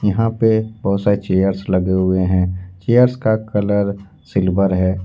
यहां पे बहुत सारी चेयरस लगे हुए हैं चेयरस का कलर सिल्वर है।